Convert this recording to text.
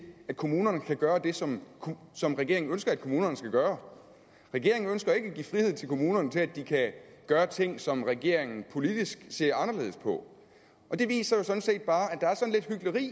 at kommunerne kan gøre det som som regeringen ønsker at kommunerne skal gøre regeringen ønsker ikke at give frihed til kommunerne til at de kan gøre ting som regeringen politisk ser anderledes på og det viser jo sådan set bare